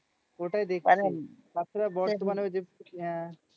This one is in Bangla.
ওটাই দেখছি তাছাড়া বর্তমানেও আহ